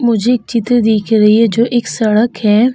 मुझे एक चित्र दिख रही है जो एक सड़क है।